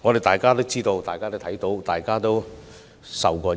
大家皆知道及看到，亦身受其害。